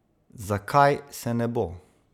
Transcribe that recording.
Zakaj se ne bo?